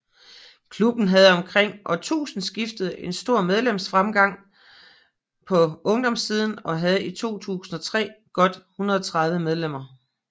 Klubben havde omkring årtusindeskiftet en stor medlemstilgang på ungdomssiden og havde i 2003 godt 130 medlemmer